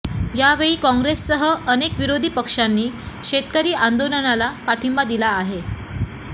यावेळी काँग्रेससह अनेक विरोधी पक्षांनी शेतकरी आंदोलनाला पाठिंबा दिला आहे